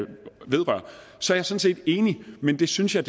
sådan set enig men det synes jeg